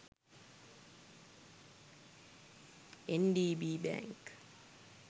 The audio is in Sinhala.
ndb bank